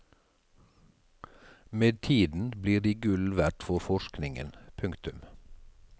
Med tiden blir de gull verdt for forskningen. punktum